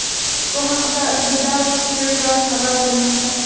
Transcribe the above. Bu haqda The Daily Telegraph xabar bermoqda .